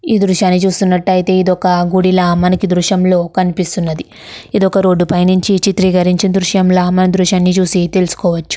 ఈ దృశాయని చూసినట్టు ఇధి ఒక గుడిలా ఈ దృశ్యంలో కనిపిస్తున్నది మనకు ఇది ధృష్యంలో చూసి తెలుసు కోవచు.